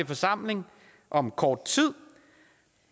forsamling om kort tid